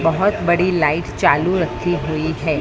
बहोत बड़ी लाइट चालू रखी हुई है।